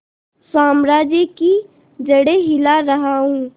साम्राज्य की जड़ें हिला रहा हूं